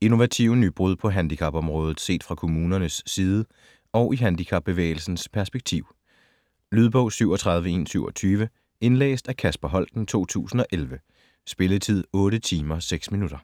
Innovative nybrud på handicapområdet set fra kommunerne side og i handicapbevægelsens perspektiv. Lydbog 37127 Indlæst af Kasper Holten, 2011. Spilletid: 8 timer, 6 minutter.